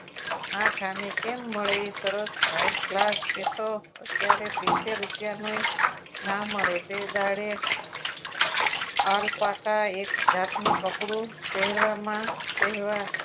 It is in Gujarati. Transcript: આઠ અને કેમ મળે એ સરસ હાઈ ક્લાસ એ તો અત્યારે સિત્તેર રુપિયાની ના મળે તે દાડે આર પાકા એક જાતનું પકડું કપડું પહેરવામાં